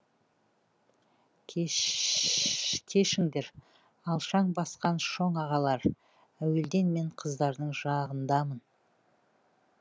кешіңдер алшаң басқан шоң ағалар әуелден мен қыздардың жағындамын